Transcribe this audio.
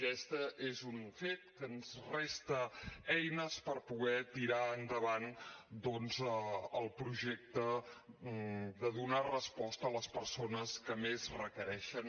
aquest és un fet que ens resta eines per poder tirar endavant doncs el projecte de donar resposta a les persones que més requereixen